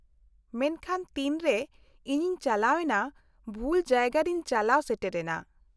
-ᱢᱮᱱᱠᱷᱟᱱ ᱛᱤᱱᱨᱮ ᱤᱧᱤᱧ ᱪᱟᱞᱟᱣᱮᱱᱟ, ᱵᱷᱩᱞ ᱡᱟᱭᱜᱟ ᱨᱮᱧ ᱪᱟᱞᱟᱣ ᱥᱮᱴᱮᱨ ᱮᱱᱟ ᱾